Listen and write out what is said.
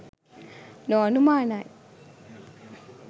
නො අනුමානයි.